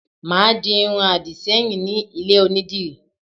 Màá di irun àdìṣẹ́yìn ní ilé Onídìrí